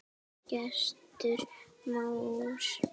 Gestur Már.